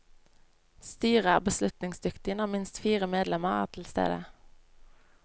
Styret er beslutningsdyktig når minst fire medlemmer er tilstede.